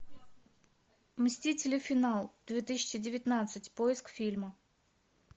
мстители финал две тысячи девятнадцать поиск фильма